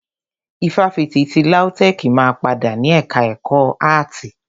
Ifáfitì ti LAUTECH máa padà ni ẹka ẹ̀kọ́ áàtì.